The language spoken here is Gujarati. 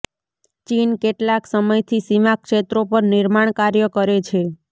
ચીન કેટલાક સમયથી સીમા ક્ષેત્રો પર નિર્માણ કાર્ય કરે છે